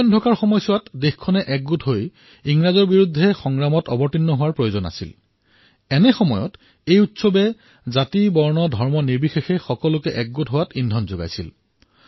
সেই সময়খিনিত জনসাধাৰণ একগোট ইংৰাজৰ বিৰুদ্ধে যুঁজিবলৈ একত্ৰ হোৱাৰ সময় আছিল এই উৎসৱসমূহে জাতি আৰু সম্প্ৰদায়ৰ বাধাসমূহ অতিক্ৰমি সকলোকে একগোট কৰাৰ কাম কৰিছিল